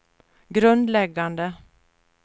grundläggande